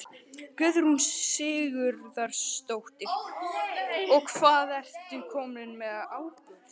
Guðrún Sigurðardóttir: Og svo ertu kominn með áburð?